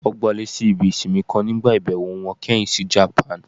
Wọn gbalé sí ibí isínmì kan nígbá ibẹwo wọn kẹhin si Japan.